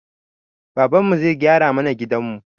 Babanmu zai gyara mana gidanmu